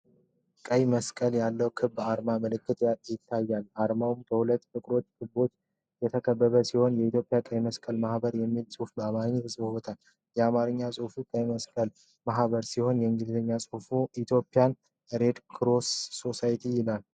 ቀይ መስቀል ያለው ክብ የአርማ ምልክት ይታያል። አርማው በሁለት ጥቁር ክቦች የተከበበ ሲሆን የኢትዮጵያ ቀይ መስቀል ማኅበር የሚል ጽሑፍ በአማርኛ ተጽፏል። የአማርኛ ጽሑፉ "የኢትዮጵያ ቀይ መስቀል ማኅበር" ሲሆን የእንግሊዝኛ ጽሑፉ "ETHIOPIAN RED CROSS SOCIETY" ይላል።